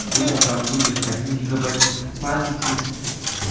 думал там будет один гигабайт памяти